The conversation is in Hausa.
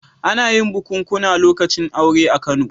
Ana yin bukunkuna lokacin aure a Kano.